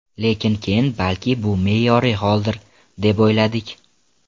Lekin keyin balki bu me’yoriy holdir, deb o‘yladik.